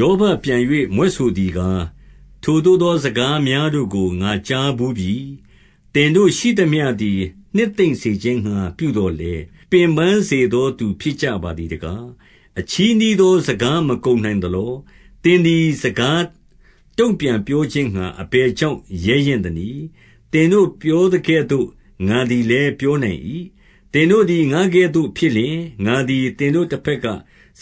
ယောဘပြန်၍ မြွက်ဆိုသည်ကား၊ 2 ထိုသို့သောစကားများတို့ကို ငါကြားဘူးပြီ။ သင်တို့ရှိသမျှသည် နှစ်သိမ့်စေခြင်းငှါ ပြုသော်လည်း၊ ပင်ပန်းစေသော သူဖြစ်ကြပါသည်တကား။ 3 အချည်းနှီးသော စကားမကုန်နိုင်သလော။ သင်သည်စကားတုံ့ပြန်ပြောခြင်းငှါ အဘယ်ကြောင့် ရဲရင့်သနည်း။ 4 သင်တို့ပြောသကဲ့သို့ ငါသည်လည်းပြောနိုင်၏။ သင်တို့သည် ငါကဲ့သို့ဖြစ်လျှင်၊ ငါသည်သင်တို့ တဘက်က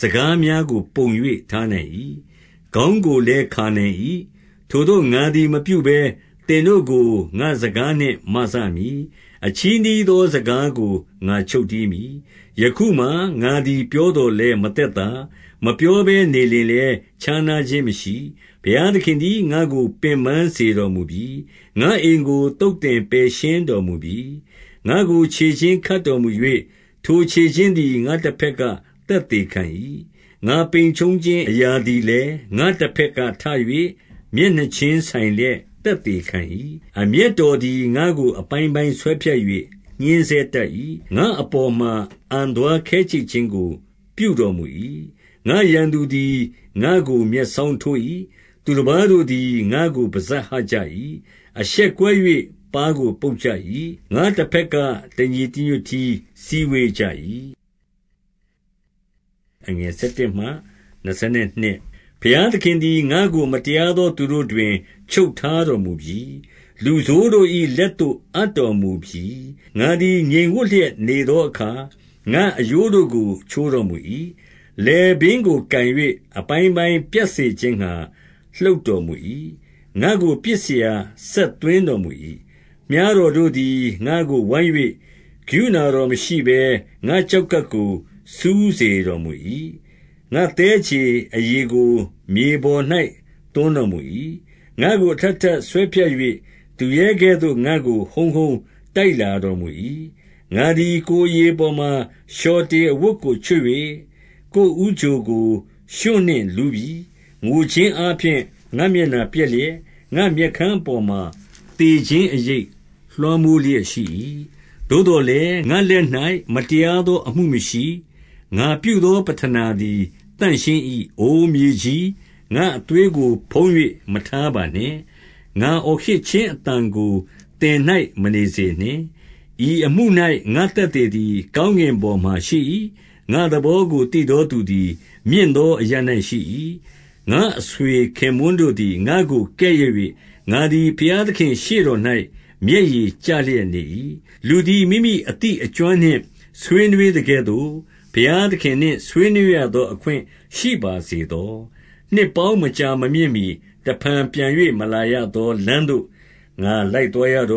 စကားများကို ပုံ၍ထားနိုင်၏။ ခေါင်းကိုလည်း ခါနိုင်၏။ 5 ထိုသို့ငါသည်မပြုဘဲ၊ သင်တို့ကို ငါ့စကားနှင့် မစမည်။ အချည်းနှီးသောစကားကို ငါချုပ်တည်းမည်။ 6 ယခုမှာငါသည် ပြောသော်လည်းမသက်သာ၊ မပြောဘဲနေလျှင်လည်း ခြားနားခြင်းမရှိ။ 7 ဘုရားသခင်သည် ငါ့ကိုပင်ပန်းစေတော်မူပြီ။ငါ့အိမ်ကို သုတ်သင်ပယ်ရှင်းတော်မူပြီ။ 8 ငါ့ကိုခြေချင်းခတ်တော်မူ၍၊ ထိုခြေချင်းသည်ငါ့ တဘက်က သက်သေခံ၏။ ငါပိန်ကြုံခြင်းအရာသည် လည်း ငါ့တဘက်ကထ၍ မျက်နှာချင်းဆိုင်လျက် သက် သေခံ၏။ 9 အမျက်တော်သည် ငါ့ကိုအပိုင်းပိုင်းဆွဲဖြတ်၍ ညှဉ်းဆဲတတ်၏။ ငါ့အပေါ်မှာ အံသွားခဲကြိတ်ခြင်းကို ပြုတော်မူ၏။ ငါ့ရန်သူသည်ငါ့ကို မျက်စောင်းထိုး၏။ 10 သူတပါးတို့သည် ငါ့ကိုပစပ်ဟကြ၏။ အရှက်ခွဲ ၍ ပါးကိုပုတ်ကြ၏။ ငါ့တဘက်က တညီတညွတ်တည်း စုဝေးကြ၏။ 11 ဘုရားသခင်သည်ငါ့ကို မတရားသောသူတို့တွင် ချုပ်ထားတော်မူပြီ။ လူဆိုးတို့၏ လက်သို့အပ်တော်မူပြီ။ 12 ငါသည်ငြိမ်ဝပ်လျက်နေသောအခါ ငါ့အရိုးတို့ကို ချိုးတော်မူ၏။ လည်ပင်းကိုကိုင်၍ အပိုင်းပိုင်းပြတ်စေ ခြင်းငှါ လှုပ်တော်မူ၏။ ငါ့ကို ပစ်စရာစက်သွင်းတော် မူ၏။ 13 မြှားတော်တို့သည် ငါ့ကိုဝိုင်း၍ ကရုဏာတော် မရှိဘဲ၊ ငါ့ကျောက်ကပ်ကို စူးစေတော်မူ၏။ ငါ့သည်းခြေအရည်ကိုမြေပေါ်၌ သွန်းတော်မူ၏။ 14 ငါ့ကိုအထပ်ထပ်ဆွဲဖြတ်၍၊ သူရဲကဲ့သို့ငါ့ကို ဟုန်းဟုန်းတိုက်လာတော်မူ၏။ 15 ငါသည်ကိုယ်အရေပေါ်မှာ လျှော်တေအဝတ်ကို ချုပ်၍ ကိုယ်ဦးချိုကို ရွှံ့နှင့်လူးပြီ။ 16 ငိုခြင်းအားဖြင့် ငါ့မျက်နှာပျက်လျက်၊ ငါ့မျက် ခမ်းအပေါ်မှာ သေခြင်းအရိပ်လွှမ်းမိုးလျက် ရှိ၏။ 17 သို့သော်လည်းငါ့လက်၌မတရားသော အမှုမရှိ။ ငါပြုသော ပဌနာသည် သန့်ရှင်း၏။ 18 အိုမြေကြီး၊ ငါ့အသွေးကိုဖုံး၍ မထားပါနှင့်။ ငါအော်ဟစ်ခြင်းအသံကို သင်၌မနေစေနှင့်။ 19 ဤအမှု၌ ငါ့သက်သေသည် ကောင်းကင်ပေါ် မှာ ရှိ၏။ 20 ငါ့သဘောကို သိသောသူသည် မြင့်သောအရပ်၌ ရှိ၏။ ငါ့အဆွေခင်ပွန်းတို့သည် ငါ့ကိုကဲ့ရဲ့၍၊ ငါသည် ဘုရားသခင့်ရှေ့တော်၌ မျက်ရည်ကျလျက်နေ၏။ 21 လူသည် မိမိအသိအကျွမ်းနှင့်ဆွေးနွေးသကဲ့သို့ ဘုရားသခင်နှင့် ဆွေးနွေးရသောအခွင့်ရှိပါစေသော။ 22 နှစ်ပေါင်းမကြာမမြင့်မှီ တဖန်ပြန်၍ မလာရ သောလမ်းသို့ ငါလိုက်သွားရတော့